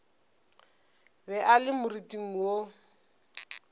be a le moriting wo